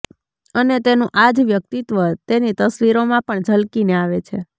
અને તેનું આ જ વ્યક્તિત્વ તેની તસવીરોમાં પણ ઝલકીને આવે છે